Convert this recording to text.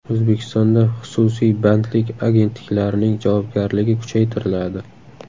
O‘zbekistonda xususiy bandlik agentliklarining javobgarligi kuchaytiriladi.